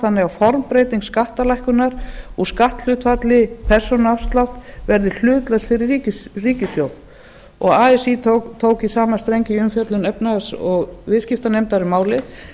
þannig að formbreyting skattalækkunarinnar úr skatthlutfalli persónuafsláttar verði hlutlaus fyrir ríkissjóð así tók í sama streng í umfjöllun efnahags og viðskiptanefndar um málið